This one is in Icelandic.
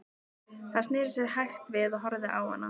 Hann sneri sér hægt við og horfði á hana.